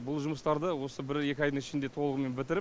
бұл жұмыстарды осы бір екі айдың ішінде толығымен бітіріп